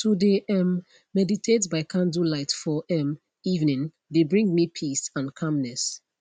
to de um meditate by candlelight for um evening de bring me peace and calmness